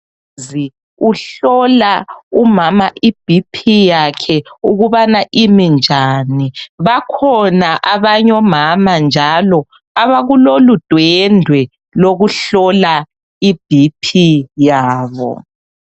uhlola umama ibhiphi yakhe ukubana imi njani bakhona abanye omama njalo abakulolu dwendwe lokuhlola ibhiphi yabo